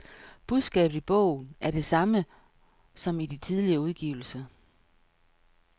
Budskabet i bogen er det samme som i de tidligere udgivelser.